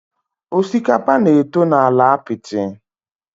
Osikapa na-eto na ala apiti.